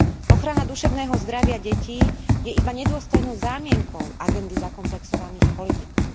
Ochrana duševného zdravia detí je iba nedôstojnou zámienkou agendy zakomplexovaných politikov.